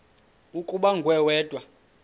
ukuba nguwe wedwa